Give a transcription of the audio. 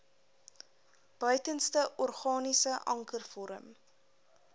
buitenste organiese ankervorm